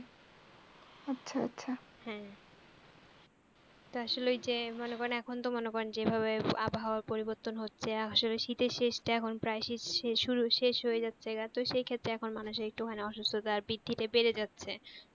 তো আসলে ঐযে মনে করেন এখন তো মনে করেন যেভাবে আবহাওয়া পরিবর্তন হচ্ছে আসলে শীতের শেষ টা এখন প্রায় শীত শুরু শেষ হয়ে যাচ্ছে গা তো সেক্ষেত্রে এখন মানুষ একটু খানি আসুস্থতা আর বেড়ে যাচ্ছে।